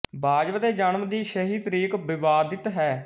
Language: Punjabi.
ਵਾਜ਼ਵ ਦੇ ਜਨਮ ਦੀ ਸਹੀ ਤਾਰੀਖ ਵਿਵਾਦਿਤ ਹੈ